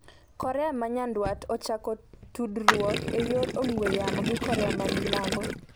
Korea ma nyanduat ochako tudruok e yor ong'we yamo gi Korea ma milambo